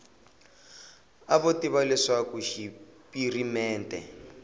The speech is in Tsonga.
a vo tiva leswaku xipirimente